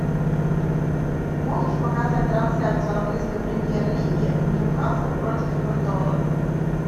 можешь показать трансляцию английской премьер лиги ньюкасл против эвертона